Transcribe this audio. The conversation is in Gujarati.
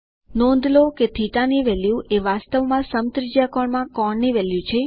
નોંધ લો કે θ ની વેલ્યુ એ વાસ્તવમાં સમત્રિજ્યાકોણમાં કોણ ની વેલ્યુ છે